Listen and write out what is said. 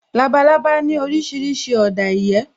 Labalábá ní orísìírísìí ọ̀dà ìyẹ́